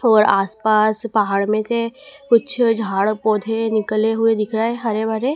और आसपास पहाड़ में से कुछ झाड़ पौधे निकले हुए दिखा रहे हरे भरे।